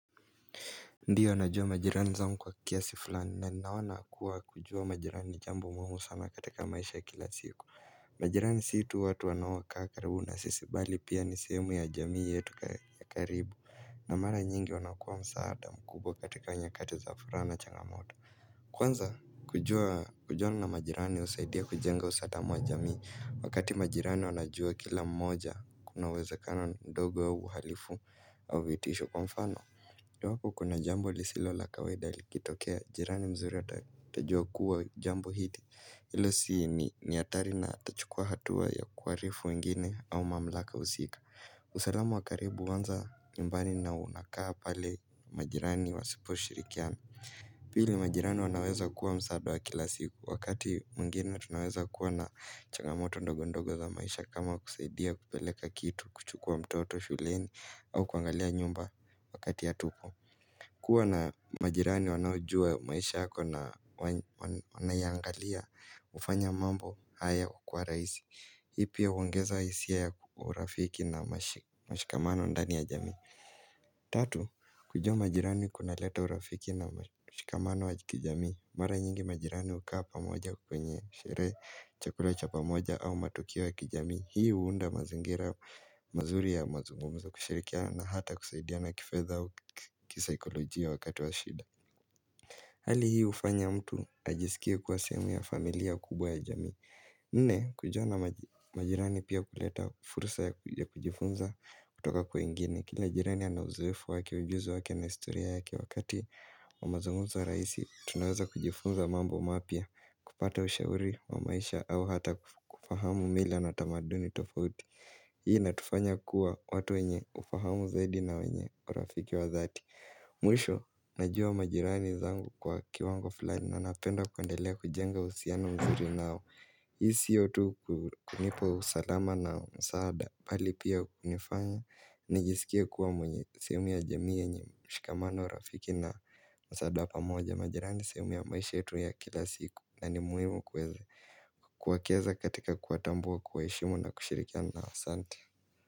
Ndiyo najua majirani zangu kwa kiasi fulani na ninaona kuwa kujua majirani jambo muhimu sana katika maisha ya kila siku majirani si tu watu wanaokaa karibu na sisi bali pia ni sehemu ya jamii yetu ya karibu na mara nyingi wanakua msaada mkubwa katika nyakati za furana na changamoto kwanza kujua kujuana majirani husaidia kujenga usatamwa wa jamii wakati majirani wanajua kila mmoja kunawezekano ndogo au uhalifu au vitisho kwa mfano Ndowako kuna jambo lisilo la kaweda likitokea, jirani mzuri atajua kuwa jambo hili, ile si ni hatari na atachukua hatua ya kuwaarifu wengine au mamlaka usiku. Usalamu wa karibu huanza nyumbani na unakaa pale majirani wasiposhirikiana. Pili majirani wanaweza kua msaada wa kila siku, wakati mwingeni tunaweza kua na changamoto ndogondogo za maisha kama kusaidia kupeleka kitu kuchukua mtoto shuleni au kuangalia nyumba. Wakati ya hatupo. Kuwa na majirani wanaojua maisha yako na wa wanaiangalia, hufanya mambo hayo kuwa rahisi. Hii pia huongeza hisia ya urafiki na mashi mashikamano ndani ya jamii. Tatu, kujua majirani kuna leta urafiki na mashikamano ya kijamii. Mara nyingi majirani hukaa pamoja kwenye, sherehe, chakula cha pamoja au matukio ya kijamii. Hii huunda mazingira mazuri ya mazungumzo kushirikia na hata kusaidia kifedha au kisaikolojia wakati wa shida Hali hii hufanya mtu ajisikie kuwa sehemu ya familia kubwa ya jamii Nne, kujuana nama majirani pia huleta fursa ya kujifunza kutoka kwingine Kila jirani anauzoefu wake, ujuzi wake na historia yake wakati wa mazungumzo rahisi Tunaweza kujifunza mambo mapya kupata ushauri wa maisha au hata kufahamu mila na tamaduni tofauti Hii inatufanya kuwa watu wenye ufahamu zaidi na wenye urafiki wa dhati Mwisho, najua majirani zangu kwa kiwango fulani Nanapenda kuendelea kujenga uhusiano mzuri nao Hii siyo tu kunipa usalama na msaada Bali pia kunifanya nijisikia kuwa mwenye sehemu ya jamii yenye mshikamano rafiki na msaada wa pamoja majirani sehemu ya maisha yetu ya kila siku na ni muhimu kuweza kwa kiweza katika kuwatambua kuwaheshimu na kushirikiana nao asante.